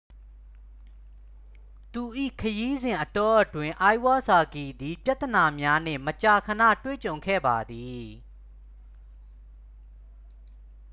သူ၏ခရီးစဉ်အတောအတွင်း အိုင်ဝစာကီ သည် ပြဿနာများနှင့် မကြာခဏတွေ့ကြုံခဲ့ပါသည်